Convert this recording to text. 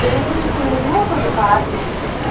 பில்டிங்குள்ளயும் கொஞ்சோம் கார் நின்னுட்டு இருக்கு.